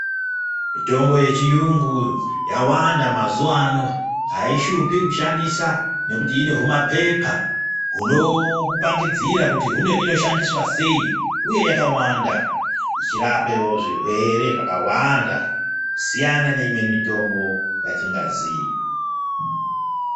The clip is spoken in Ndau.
Mitombo yechiyungu yawanda mazuwa ano aishupi kushandisa nekuti ine humapepa hunokupangidzira kuti hino inoshandiswa sei uye yakawanda ichirapewo zvirwere zvakawanda kusiyana neimweni mitombo yatingaziya .